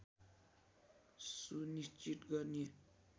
सुनिश्चित गर्ने